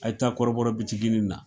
A ye taa kɔrɔbɔrɔ na